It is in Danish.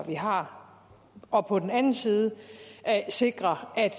vi har og på den anden side sikre at